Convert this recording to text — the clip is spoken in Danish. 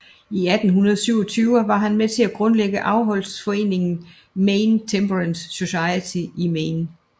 I 1827 var han med til at grundlægge afholdsforeningen Maine Temperance Society i Maine